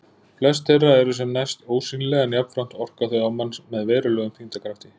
Flest þeirra eru sem næst ósýnileg en jafnframt orka þau á mann með verulegum þyngdarkrafti.